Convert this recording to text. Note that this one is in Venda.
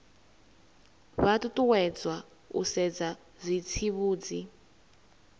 vha ṱuṱuwedzwa u sedza zwitsivhudzi